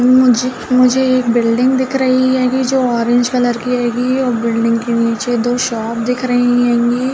मुझे मुझे एक बिल्डिंग दिख रही हैंगी जो ऑरेंज कलर की हैंगी और बिल्डिंग के नीचे दो शॉप दिख रही हैंगी।